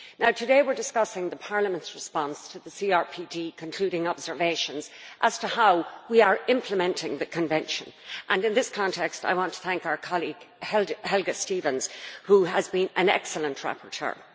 Today we are discussing Parliament's response to the CRPD concluding observations as to how we are implementing the Convention, and in this context I want to thank our colleague, Helga Stevens, who has been an excellent rapporteur.